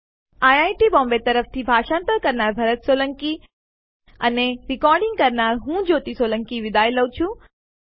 IIT Mumbai તરફથી ભાષાંતર કરનાર હું ભરત સોલંકી વિદાય લઉં છું